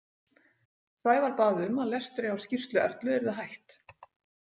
Sævar bað um að lestri á skýrslu Erlu yrði hætt.